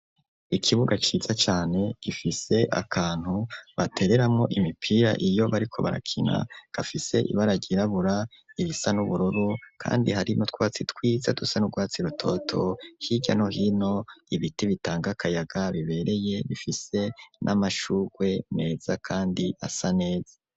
ikibuga ciza cane gifise akantu batereramo imipira iyo bariko barakina gafise ibaragirabura ibisa n'ubururu kandi harimo twatsi twiza dusa n'urwatsi rutoto hijyano hino ibiti bitangakayaga bibereye bifise n'amashugwe neza kandi asa neza.